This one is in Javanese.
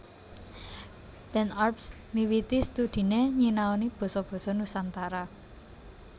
Ben Arps miwiti studhiné nyinaoni basa basa Nusantara